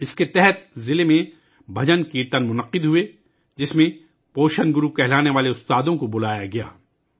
اس کے تحت ضلع میں بھجن کیرتنوں کا انعقاد کیا گیا ، جس میں تغذیہ گرو کہلانے والے اساتذہ کو بلایا گیا